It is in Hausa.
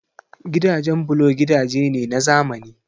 Gidajen bulo gidaje ne na zamani